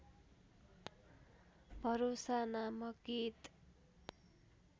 भरोसा नामक गीत